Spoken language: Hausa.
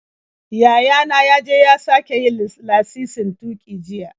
Yaya na ya je ya sake yin lasisin tuƙi jiya.